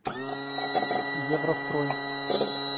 еврострой